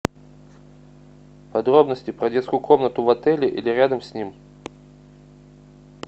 подробности про детскую комнату в отеле или рядом с ним